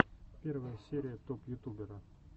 первая серия топ ютубера